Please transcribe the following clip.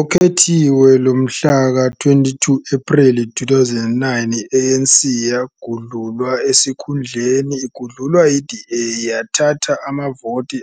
Okhethweni lomhlaka-22 Ephreli 2009 i-ANC yagudlulwa esikhundleni igudlulwa yi-DA, eyathatha amavoti